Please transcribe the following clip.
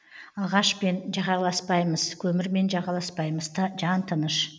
ағашпен жағаласпаймыз көмірмен жағаласпаймыз жан тыныш